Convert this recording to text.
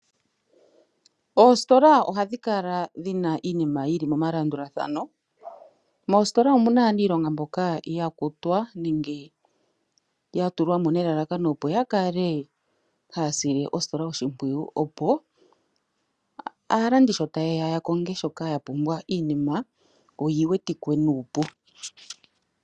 Oositola ohadhi kala dhina iinima yili momalandulathano, moositola omu na aaniilonga mboka ya kutwa nenge ya tulwa mo nelalakano opo ya kale haya sile ositola oshimpwiyu opo aalandi sho taye ya ya konge shoka ya pupwa, iinima oyi wetike nuupu.